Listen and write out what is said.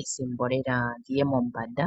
ethimbo lela dhi ye mombanda.